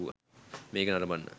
මේක නරඹන්න